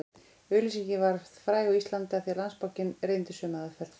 Auglýsingin varð fræg á Íslandi af því Landsbankinn reyndi sömu aðferð